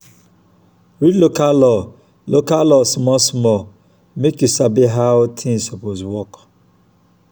read local law local law small small mek yu sabi how tins soppose work